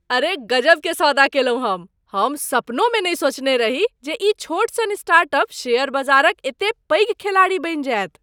अरे गजबके सौदा कएलहुँ हम! हम सपनहुमे नहि सोचने रही जे ई छोट सन स्टार्टअप शेयर बजारक एतेक पैघ खेलाड़ी बनि जायत।